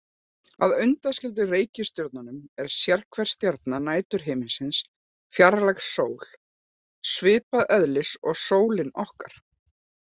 Að undanskildum reikistjörnunum er sérhver stjarna næturhiminsins fjarlæg sól, svipaðs eðlis og sólin okkar.